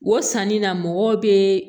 O sanni na mɔgɔw bɛ